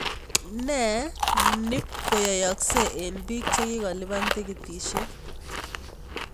Ne nipkoyayakse eng biik chikikakolipan tiketisiek ?